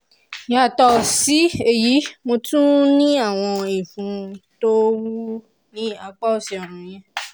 yàtọ̀ sí èyí mo tún ní àwọn ìfun tó wú ní apá òsì ọrùn mi